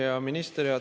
Hea minister!